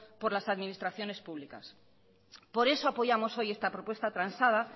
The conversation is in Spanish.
por las administraciones públicas por eso apoyamos hoy esta propuesta transada